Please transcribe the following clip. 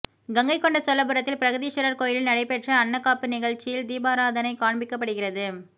கங்கை கொண்ட சோழபுரத்தில் பிரகதீஸ்வரர் கோயிலில் நடைபெற்ற அன்னக்காப்பு நிகழ்ச்சியில் தீபாராதணை காண்பிக்கப்படுகிறது